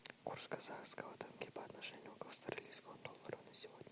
курс казахского тенге по отношению к австралийскому доллару на сегодня